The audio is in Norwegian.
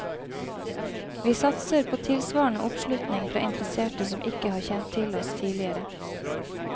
Vi satser på tilsvarende oppslutning fra interesserte som ikke har kjent til oss tidligere.